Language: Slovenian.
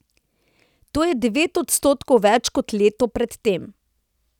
To je devet odstotkov več kot leto pred tem.